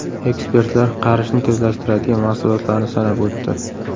Ekspertlar qarishni tezlashtiradigan mahsulotlarni sanab o‘tdi.